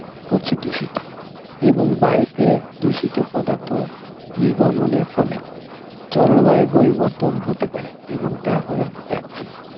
করছে দূষিত এবং বায়ুতে দূষিত পদার্থ নির্গমনের ফলে জলবায়ুর পরিবর্তন হতে পারে এবং তা হয়ে যাচ্ছে.